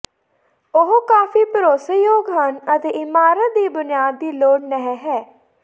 ਉਹ ਕਾਫ਼ੀ ਭਰੋਸੇਯੋਗ ਹਨ ਅਤੇ ਇਮਾਰਤ ਦੀ ਬੁਨਿਆਦ ਦੀ ਲੋੜ ਨਹ ਹੈ